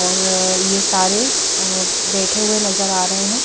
और ये सारे अ बेठे हुए नज़र आ रहे है।